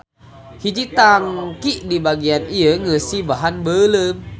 Hiji tanki di bagian ieu ngeusi bahan beuleum.